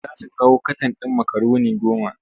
Za su kawo katan ɗin makaroni goma.